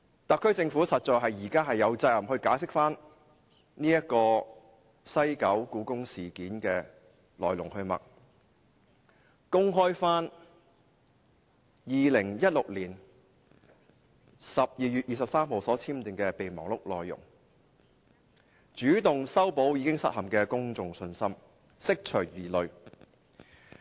特區政府現時實在有責任解釋西九故宮館事件的來龍去脈，公開2016年12月23日簽訂的備忘錄內容，主動修補已失陷的公眾信心，釋除疑慮。